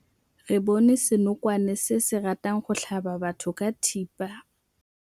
Re bone senokwane se se ratang go tlhaba batho ka thipa.